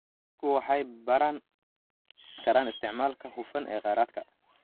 Dadku waxay baran karaan isticmaalka hufan ee kheyraadka.